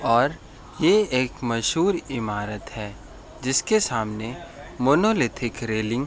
और ये एक मशहूर इमारत है जिसके सामने मोनोलिथिक रैलिंग --